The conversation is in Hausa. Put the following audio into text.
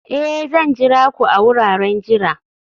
Ee!, Zan jira ku a wuraren jira